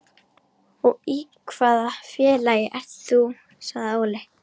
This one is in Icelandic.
Og í hvaða félagi ert þú? sagði Óli.